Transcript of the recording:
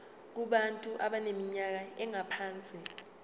kubantu abaneminyaka engaphansi